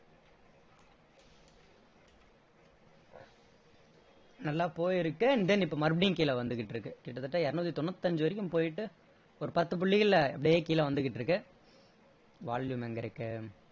நல்லா போயிருக்கு and then இப்போ மறுபடியும் கீழ வந்துகிட்டிருக்கு கிட்டத்தட்ட இருநூத்தி தொண்ணுத்தி அஞ்சு வரைகும் போயிட்டு ஒரு பத்து புள்ளிகளில அப்படியயே கீழ வந்துகிட்டிருக்கு volume எங்க இருக்கு